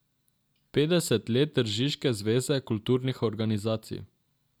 Petdeset let tržiške zveze kulturnih organizacij.